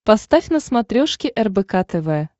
поставь на смотрешке рбк тв